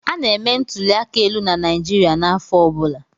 Ana-eme ntụli aka elu na Naịjirịa n'afọ ọ bụla.